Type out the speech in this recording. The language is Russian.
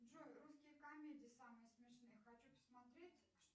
джой русские комедии самые смешные хочу посмотреть